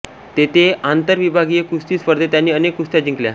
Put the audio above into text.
तेथे आंतरविभागीय कुस्ती स्पर्धेत त्यांनी अनेक कुस्त्या जिंकल्या